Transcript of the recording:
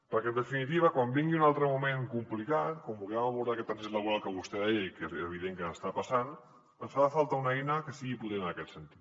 perquè en definitiva quan vingui un altre moment complicat quan vulguem abordar aquest trànsit laboral que vostè deia i que és evident que està passant ens farà falta una eina que sigui potent en aquest sentit